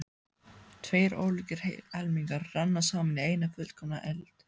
Tveir ólíkir helmingar renna saman í eina fullkomna heild.